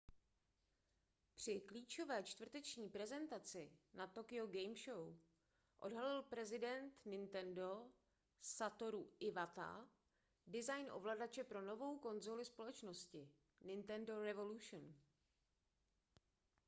při klíčové čtvrteční prezentaci na tokyo game show odhalil prezident nintendo satoru iwata design ovladače pro novou konzoli společnosti nintendo revolution